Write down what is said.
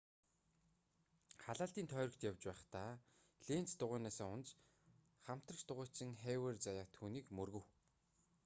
халаалтын тойрогт явж байхдаа ленц дугуйнаасаа унаж хамтрагч дугуйчин хавиер заяат түүнийг мөргөв